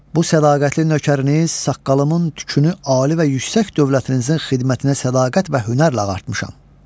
Bu sədaqətli nökəriniz saqqalımın tükünü ali və yüksək dövlətinizin xidmətinə sədaqət və hünərlə ağartmışam.